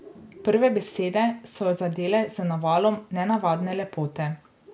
Prve besede so jo zadele z navalom nenavadne lepote.